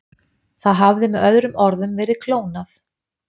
Það hafði með öðrum orðum verið klónað.